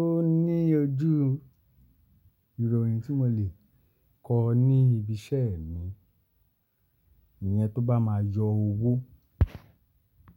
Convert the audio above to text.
Ó ní ojú ìròyìn tí mo lè kọ ní ibi iṣẹ́ mi, ìyẹn tó bá máa yọ owó.